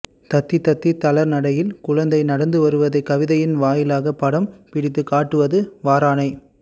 தத்தித் தத்தி தளர் நடையில் குழந்தை நடந்து வருவதைக் கவிதையின் வாயிலாகப் படம் பிடித்துக் காட்டுவது வாரானை